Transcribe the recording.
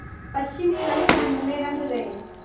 पश्चिमी रंगढंग में रंग गए